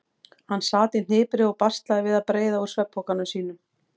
Hann sat í hnipri og baslaði við að breiða úr svefnpokanum sínum.